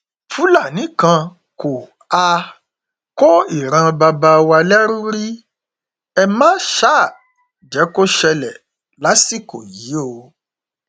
fúlàní kan kò um kó ìran bàbá wa lẹrú rí ẹ má um jẹ kó ṣẹlẹ lásìkò yìí o